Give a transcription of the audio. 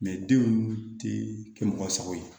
denw ti kɛ mɔgɔ sago ye